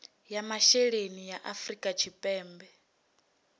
ya masheleni ya afrika tshipembe